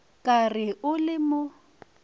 ka re o le mo